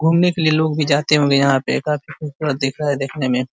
घूमने के लिए लोग भी जाते होंगे यहाँ पे काफी खूबसूरत दिख रहा है देखने में।